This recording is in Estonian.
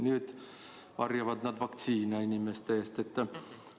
Nüüd varjavad need inimeste eest vaktsiine.